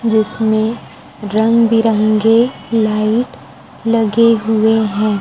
जिसमे रंग बिरंगे लाइट लगे हुए हैं।